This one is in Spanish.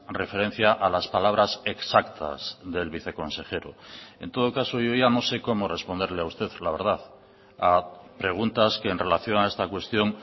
referencia a las palabras exactas del viceconsejero en todo caso yo ya no sé cómo responderle a usted la verdad a preguntas que en relación a esta cuestión